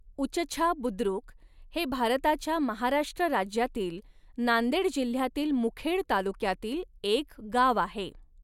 उचछा बुद्रुक हे भारताच्या महाराष्ट्र राज्यातील नांदेड जिल्ह्यातील मुखेड तालुक्यातील एक गाव आहे.